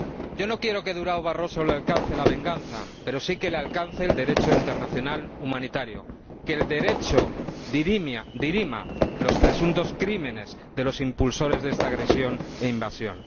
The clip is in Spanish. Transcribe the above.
Yo no quiero que a Durão Barroso le alcance la venganza, pero sí que le alcance el Derecho internacional humanitario, que el Derecho dirima los presuntos crímenes de los impulsores de esta agresión e invasión.